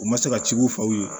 U ma se ka ci u faw ye